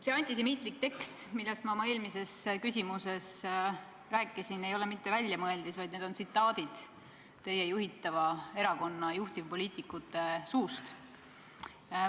See antisemiitlik tekst, millest ma oma eelmises küsimuses rääkisin, ei ole mitte väljamõeldis, vaid need tsitaadid on pärit teie juhitava erakonna juhtivpoliitikute suust.